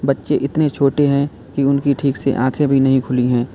बच्चे इतने छोटे हैं कि उनकी ठीक से आंखें भी नहीं खुली हैं।